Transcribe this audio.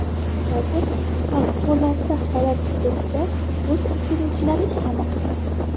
Hozir favqulodda holat hududida o‘t o‘chiruvchilar ishlamoqda.